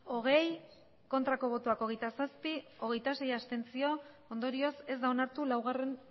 hogei bai hogeita zazpi ez hogeita sei abstentzio ondorioz ez da onartu laugarren